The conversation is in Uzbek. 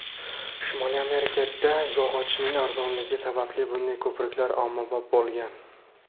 Shimoliy Amerikada yog‘ochning arzonligi sababli bunday ko‘priklar ommabop bo‘lgan.